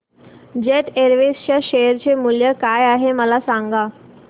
jet Airways च्या share चे मूल्य काय आहे मला सांगा